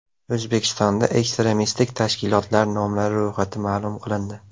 O‘zbekistonda ekstremistik tashkilotlar nomlari ro‘yxati ma’lum qilindi.